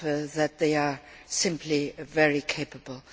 that they are simply very capable.